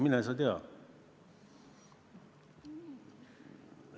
Mine sa tea.